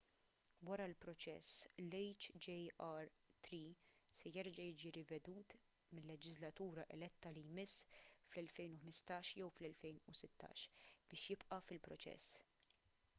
wara l-proċess l-hjr-3 se jerġa’ jiġi rivedut mil-leġiżlatura eletta li jmiss fl-2015 jew fl-2016 biex jibqa’ fil-proċess